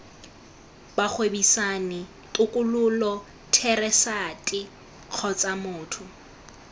bagwebisani tokololo therasete kgotsa motho